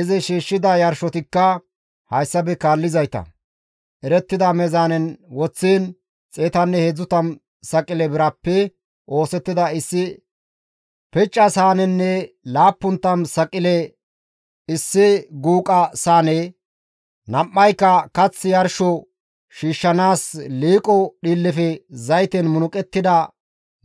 Izi shiishshida yarshotikka hayssafe kaallizayta; erettida meezaanen woththiin 130 saqile birappe oosettida issi picca saanenne 70 saqile issi guuqa saane, nam7ayka kath yarsho shiishshanaas liiqo dhiillefe zayten munuqettida